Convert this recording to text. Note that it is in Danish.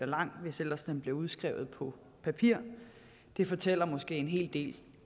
lang hvis ellers den blev udskrevet på papir det fortæller måske en hel del